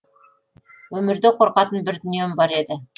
өмірде қорқатын бір дүнием бар еді